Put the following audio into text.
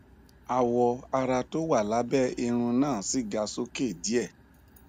awọ ara tó wà lábẹ irún náà sì ga sókè díè